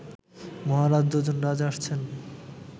মহারাজ, দুজন রাজা আসছেন